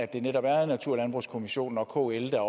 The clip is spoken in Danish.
det netop er natur og landbrugskommissionen og kl der